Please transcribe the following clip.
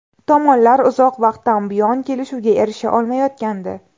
Tomonlar uzoq vaqtdan buyon kelishuvga erisha olmayotgandi.